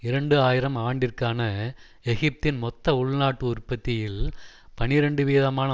இரண்டு ஆயிரம் ஆண்டிற்கான எகிப்தின் மொத்த உள்நாட்டு உற்பத்தியில் பனிரண்டு வீதமான